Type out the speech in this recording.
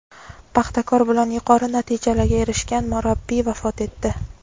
"Paxtakor" bilan yuqori natijalarga erishgan murabbiy vafot etdi.